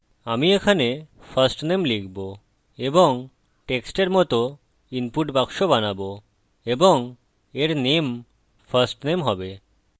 আমি এখানে firstname লিখব এবং text এর মত input বাক্স বানাবো এবং এর name firstname হবে